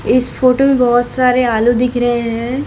इस फोटो में बहुत सारे आलू दिख रहे हैं।